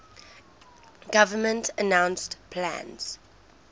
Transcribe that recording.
government announced plans